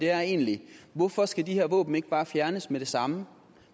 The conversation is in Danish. er egentlig hvorfor skal de her våben ikke bare fjernes med det samme